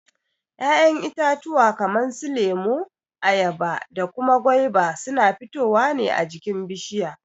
Ya'yan itatuwa kaman su lemo, ayaba da kuma gwaiba suna fitowa ne a jikin bishiya.